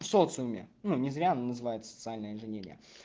в социуме ну не зря называют социальная инженерия